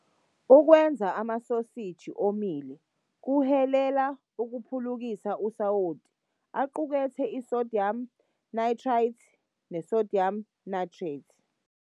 Ukwenza amasoseji omile kuhilela ukuphulukisa usawoti, aqukethe i-sodium nitrite ne-sodium nitrate.